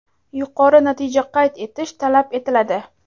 yuqori natija qayd etish talab etiladi.